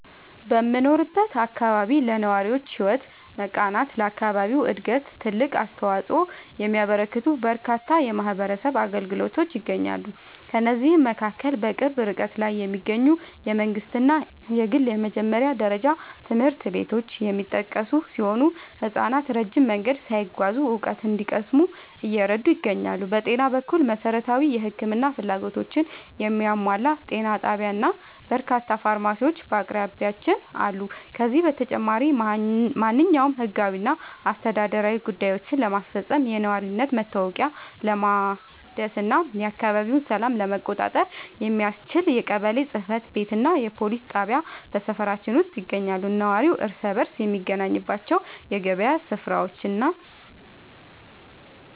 በምኖርበት አካባቢ ለነዋሪዎች ሕይወት መቃናትና ለአካባቢው ዕድገት ትልቅ አስተዋፅኦ የሚያበረክቱ በርካታ የማኅበረሰብ አገልግሎቶች ይገኛሉ። ከእነዚህም መካከል በቅርብ ርቀት ላይ የሚገኙ የመንግሥትና የግል የመጀመሪያ ደረጃ ትምህርት ቤቶች የሚጠቀሱ ሲሆን፣ ሕፃናት ረጅም መንገድ ሳይጓዙ እውቀት እንዲቀስሙ እየረዱ ይገኛሉ። በጤና በኩል፣ መሠረታዊ የሕክምና ፍላጎቶችን የሚያሟላ ጤና ጣቢያና በርካታ ፋርማሲዎች በአቅራቢያችን አሉ። ከዚህም በተጨማሪ፣ ማንኛውንም ሕጋዊና አስተዳደራዊ ጉዳዮችን ለማስፈጸም፣ የነዋሪነት መታወቂያ ለማደስና የአካባቢውን ሰላም ለመቆጣጠር የሚያስችል የቀበሌ ጽሕፈት ቤትና የፖሊስ ጣቢያ በሰፈራችን ውስጥ ይገኛሉ። ነዋሪው እርስ በርስ የሚገናኝባቸው የገበያ ሥፍራዎችና